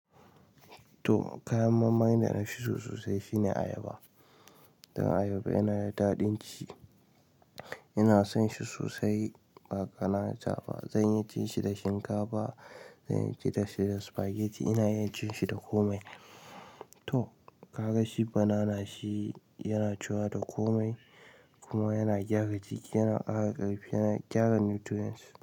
To, kayan marmari da nafi so sosai shine ayaba. Dan ayaba ina da daɗin ci, ina son shi sosai ba ƙanata ba. Zanyi ci shi da shinkafa, zanyi ci shi da spaghetti, inayi ci shi da komai. To, ka ga shi banana shi yana ciwa da komai kuma yana gyara jiki, yana ƙara ƙarfi, yana gyara nutrients.